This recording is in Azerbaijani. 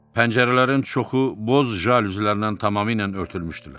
Pəncərələrin çoxu boz jalüzlərdən tamamilə örtülmüşdülər.